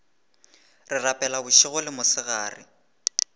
re rapela bošego le mosegare